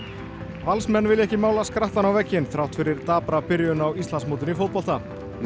Valsmenn vilja ekki mála skrattann á vegginn þrátt fyrir dapra byrjun á Íslandsmótinu í fótbolta